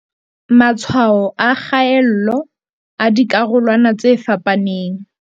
Matshwao a kgaello a dikarolwana tse fapaneng